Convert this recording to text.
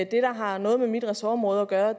der har noget med mit ressortområde gøre